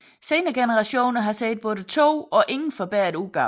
Senere generationer har set både to og ingen forbedret udgave